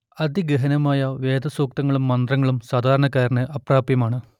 അതിഗഹനമായ വേദസുക്തങ്ങളും മന്ത്രങ്ങളും സാധാരണക്കാരന് അപ്രാപ്യമാണ്